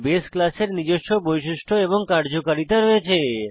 বাসে ক্লাসের নিজস্ব বৈশিষ্ট্য এবং কার্যকারিতা রয়েছে